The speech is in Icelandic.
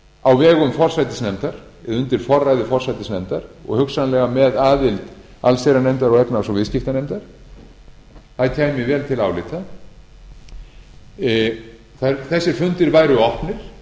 á vegum forsætisnefndar undir forræði forsætisnefndar og hugsanlega með aðild allsherjarnefndar og efnahags og viðskiptanefndar það kæmi vel til álita þessir fundir væru opnir